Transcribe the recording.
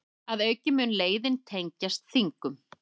Að auki mun leiðin tengjast Þingum